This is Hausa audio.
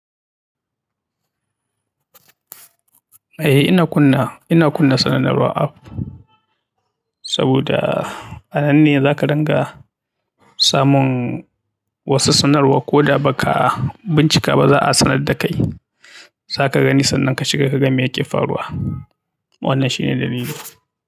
Eh, ina kunnawa, ina kunna sanarwar app saboda a nan ne za ka dinga samun wasu sanarwa ko da ba ka bincika ba za a sanar da kai. Za ka gani sannan ka shiga ka ga me yake faruwa. Wannan shine dalili.